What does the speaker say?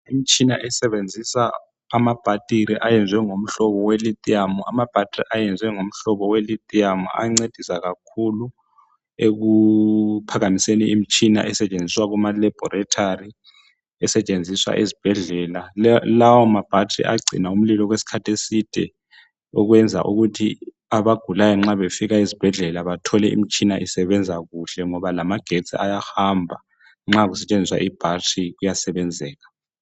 imitshina esebenzisa amabhathiri ayenziwe ngomhlobo we Lithium ayancedisa kakhulu ekuphakamiseni imtshina esetshenziswa kuma laboratory esetshenziswa ezibhedlela lawa ma battery ayagcina umlilo okwesikhathi eside okwenza ukuthi abagulayo nxa befika ezibhedlela bathole imtshina isebenza kuhle ngoba lamagetsi ayahamba nxa kusetshenziswa i battery kuyasebenzeka